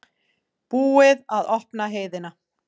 Búið að opna heiðina